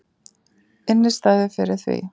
Innistæðu fyrir því!